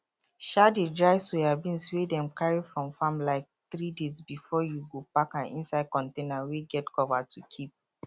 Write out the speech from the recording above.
um dey dry soyabeans wey dem carry from farm like 3days before you go pack am inside container wey get cover to keep